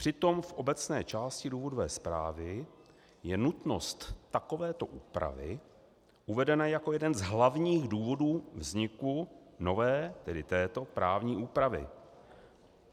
Přitom v obecné části důvodové zprávy je nutnost takovéto úpravy uvedena jako jeden z hlavních důvodů vzniku nové, tedy této, právní úpravy.